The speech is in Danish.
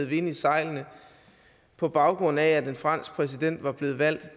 vind i sejlene på baggrund af at en fransk præsident var blevet valgt